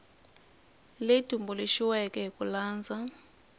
leyi tumbuluxiweke hi ku landza